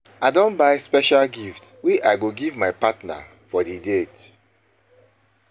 I don buy special gift wey I wey I go give my partner for di date.